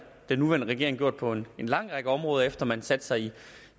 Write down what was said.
den nuværende regering gjort på en lang række områder efter at man satte sig ind